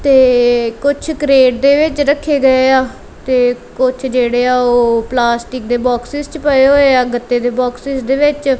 ਤੇ ਕੁਝ ਕਰੇਡ ਦੇ ਵਿੱਚ ਰੱਖੇ ਗਏ ਆ ਤੇ ਕੁਝ ਜਿਹੜੇ ਆ ਉਹ ਪਲਾਸਟਿਕ ਦੇ ਬੋਕ੍ਸਸ ਚ ਪਏ ਹੋਏ ਆ ਗੱਤੇ ਦੇ ਬੋਕ੍ਸਸ ਦੇ ਵਿੱਚ।